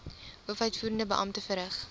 hoofuitvoerende beampte verrig